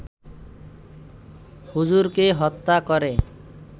হুজুরকে হত্যা করে